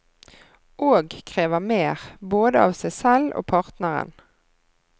Og krever mer, både av seg selv og partneren.